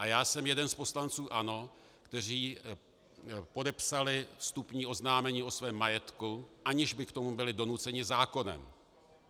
A já jsem jeden z poslanců ANO, kteří podepsali vstupní oznámení o svém majetku, aniž by k tomu byli donuceni zákonem.